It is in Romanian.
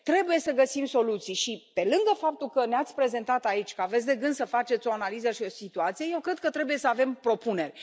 Trebuie să găsim soluții și, pe lângă faptul că ne ați prezentat aici că aveți de gând să faceți o analiză și o situație, eu cred că trebuie să avem propuneri.